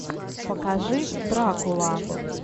покажи дракула